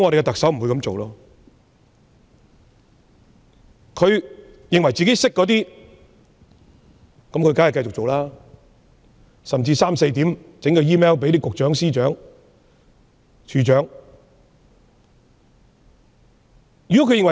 對於自以為懂得的事，她當然會繼續做；她甚至會在半夜向司長、局長、處長發放電郵。